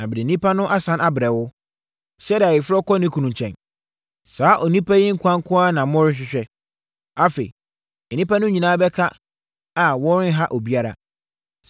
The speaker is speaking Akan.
na mede nnipa no asane abrɛ wo, sɛdeɛ ayeforɔ kɔ ne kunu nkyɛn. Saa onipa yi nkwa nko ara na worehwehwɛ. Afei nnipa no nyinaa bɛka a wɔrenha obiara.”